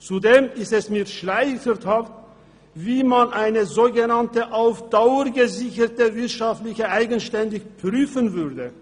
Zudem ist es mir schleierhaft, wie man eine so genannte auf Dauer gesicherte wirtschaftliche Eigenständigkeit prüfen würde.